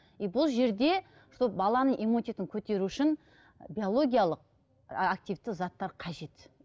е бұл жерде сол баланың иммунитетін көтеру үшін биологиялық активті заттар қажет